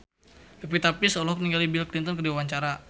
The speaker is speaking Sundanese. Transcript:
Pevita Pearce olohok ningali Bill Clinton keur diwawancara